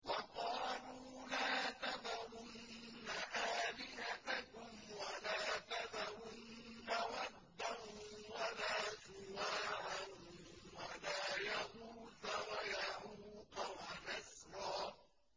وَقَالُوا لَا تَذَرُنَّ آلِهَتَكُمْ وَلَا تَذَرُنَّ وَدًّا وَلَا سُوَاعًا وَلَا يَغُوثَ وَيَعُوقَ وَنَسْرًا